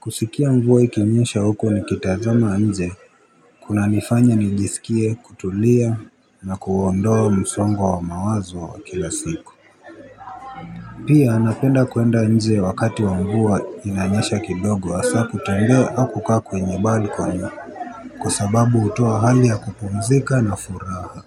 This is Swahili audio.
kusikia mvuwa ikinyesha huko nikitazama nje kuna nifanya nijisikie kutulia na kuondoa msongo wa mawazo wa kila siku pia napenda kuenda nje wakati wa mvua inanyesha kidogo hasa kutembea au kukaa kwenye balkoni kwa sababu hutoa hali ya kupumzika na furaha.